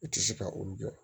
U tɛ se ka olu jɔ